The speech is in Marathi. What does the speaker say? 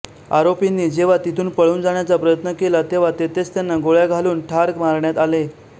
आरोपींनी जेव्हा तिथुन पळुन जाण्याचा प्रयत्न केला तेव्हा तेथेच त्यांना गोळ्या घालून ठार मारण्यात आले